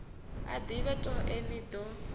a ḓivhe toe ni ḓo